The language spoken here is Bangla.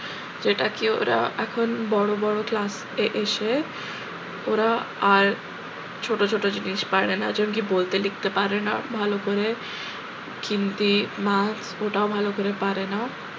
যেটা কি ওরা এখন বড় বড় class এ এসে ওরা আর ছোট ছোট জিনিস পারে না যেমন কি বলতে লিখতে পারে না ভালো করে ওটাও ভালো করে পারে না